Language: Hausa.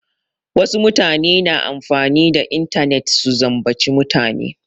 Wasu mutane na amfani da intanet su zambaci mutane.